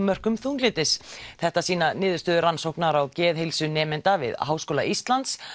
mörkum þunglyndis þetta sýna niðurstöður rannsóknar á geðheilsu nemenda við Háskóla Íslands